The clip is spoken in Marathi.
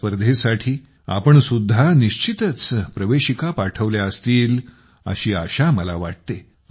या स्पर्धेसाठी तुम्ही सुद्धा निश्चितच प्रवेशिका पाठवल्या असतील अशी आशा मला वाटते